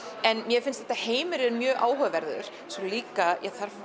en mér finnst þessi heimur mjög áhugaverður svo líka